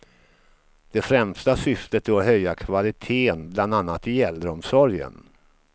Det främsta syftet är att höja kvaliteten bland annat i äldreomsorgen.